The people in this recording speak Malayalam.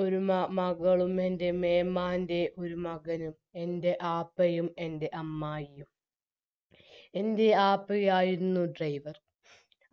ഒരു മ മകളും എൻറെ മേമാന്റെ ഒരു മകനും എൻറെ ആപ്പയും എൻറെ അമ്മായിയും എൻറെ ആപ്പയായിരുന്നു driver